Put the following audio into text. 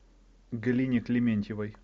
галине клементьевой